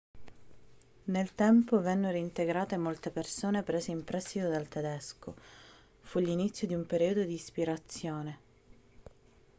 nel tempo vennero integrate molte parole prese in prestito dal tedesco fu l'inizio di un periodo di ispirazione